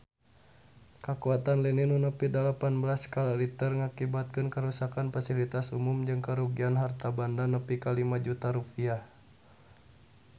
Kakuatan lini nu nepi dalapan belas skala Richter ngakibatkeun karuksakan pasilitas umum jeung karugian harta banda nepi ka 5 juta rupiah